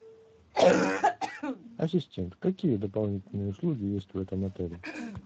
ассистент какие дополнительные услуги есть в этом отеле